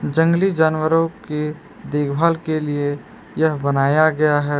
जंगली जानवरों के देखभाल के लिए यह बनाया गया है।